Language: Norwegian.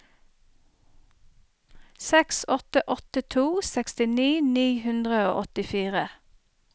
seks åtte åtte to sekstini ni hundre og åttifire